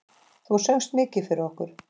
Þú söngst mikið fyrir okkur.